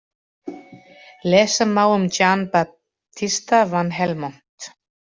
Lesa má um Jan Babtista van Helmont.